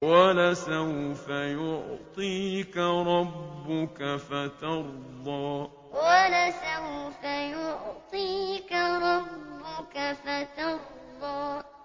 وَلَسَوْفَ يُعْطِيكَ رَبُّكَ فَتَرْضَىٰ وَلَسَوْفَ يُعْطِيكَ رَبُّكَ فَتَرْضَىٰ